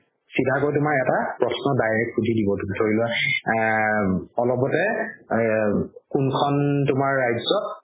চিধাকৈ তুমাৰ এটা প্ৰশ্ন direct শুধি দিব ধৰি লোৱা এ.. অলপতে এ কোনখন তুমাৰ ৰাজ্যত